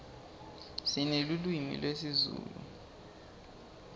sinelulwimi lezulu